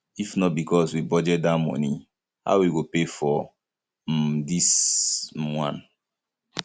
if not because we budget dat money how we go pay for um dis um one